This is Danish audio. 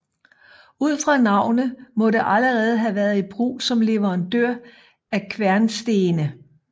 Ud fra navnet må det allerede have været i brug som leverandør af kværnstene